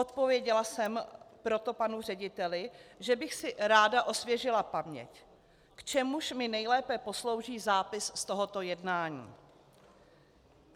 Odpověděla jsem proto panu řediteli, že bych si ráda osvěžila paměť, k čemuž mi nejlépe poslouží zápis z tohoto jednání.